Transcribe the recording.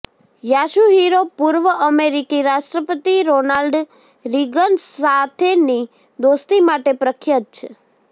Yasuhiro પૂર્વ અમેરિકી રાષ્ટ્રપતિ રોનાલ્ડ રીગન સાથેની દોસ્તી માટે પ્રખ્યાત છે